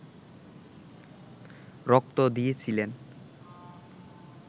রক্ত দিয়েছিলেন